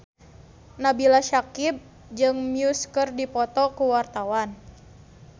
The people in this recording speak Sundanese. Nabila Syakieb jeung Muse keur dipoto ku wartawan